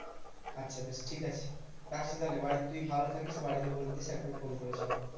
আচ্ছা বেশ ঠিকাছে রাখছি তাহলে বাড়িতে তুই ভালো থাকিস। বাড়িতে বলে দিস একবার ফোন করেছিলাম।